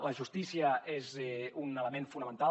la justícia és un element fonamental